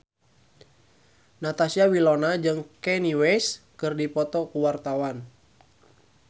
Natasha Wilona jeung Kanye West keur dipoto ku wartawan